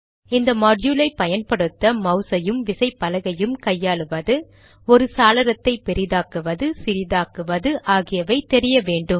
இந்த மாட்யூலை பயன்படுத்த மௌஸ் ஐயும் விசைப்பலகையும் கையாளுவது ஒரு சாளரத்தை பெரிதாக்குவது சிறிதாக்குவது ஆகியவை தெரிய வேண்டும்